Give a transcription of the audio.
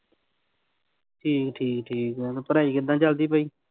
ਠੀਕ ਠੀਕ ਠੀਕ ਆ, ਪੜ੍ਹਾਈ ਕਿੱਦਾਂ ਚੱਲਦੀ ਪਈ?